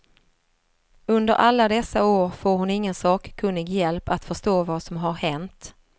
Under alla dessa år får hon ingen sakkunnig hjälp att förstå vad som har hänt.